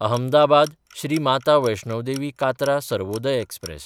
अहमदाबाद–श्री Mata Vaishno Devi Katra Sarvodaya express